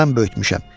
Mən böyütmüşəm.